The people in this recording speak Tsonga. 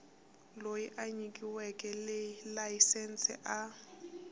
loyi a nyikiweke layisense a